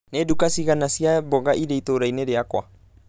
Nĩ nduka cigana cia mboga irĩ itũũrainĩ rĩakwa?